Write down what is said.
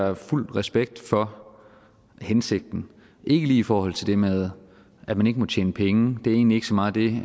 har fuld respekt for hensigten ikke lige i forhold til det med at man ikke må tjene penge det er egentlig ikke så meget det